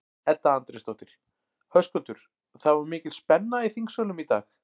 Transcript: Edda Andrésdóttir: Höskuldur, það var mikil spenna í þingsölum í dag?